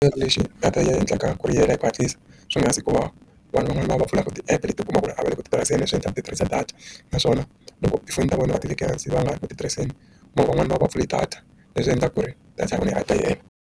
Lexi nga ta yi endlaka ku ri yi hela hi ku hatlisa swi nga na siku va vanhu van'wani va vaku titirhiseni leswi endlaka ku ti tirhiseni data naswona loko tifoni ta vona va tekela hansi va nga ha ri ku titirhiseni mara van'wani va ya va pfule data leswi endlaka ku ri data ya vona yi nga ta yena.